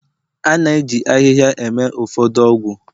A na-eji ahịhịa eme ụfọdụ ọgwụ